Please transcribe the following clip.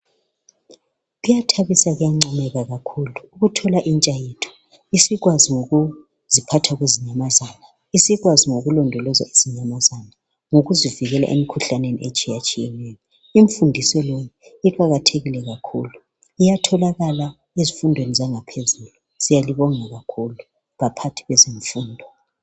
Kuyathabisa kuyangcomeka kakhulu. ukuthola intsha yethu isikwazi ngokuziphatha kwezinyamazana, isikwazi ngokulondolozwa kwezinyamazana ngokuzivikela emikhuhlaneni etshiyatshiyeneyo. Imfundiso le iqakathekile kakhulu. Iyatholakala ezifundweni zangaphezulu. Siyalibonga kakhulu baphathi bezemfundo.